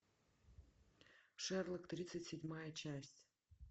шерлок тридцать седьмая часть